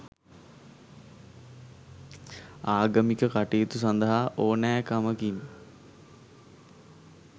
ආගමික කටයුතු සඳහා ඕනෑකමකින්